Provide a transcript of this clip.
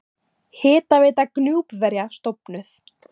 Hitaveita Gnúpverja stofnuð.